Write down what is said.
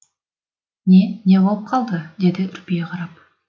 не не болып қалды деді үрпие қарап